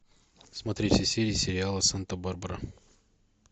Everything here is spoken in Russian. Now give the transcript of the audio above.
смотреть все серии сериала санта барбара